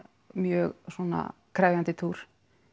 mjög svona krefjandi túr